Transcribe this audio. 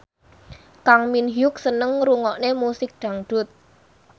Kang Min Hyuk seneng ngrungokne musik dangdut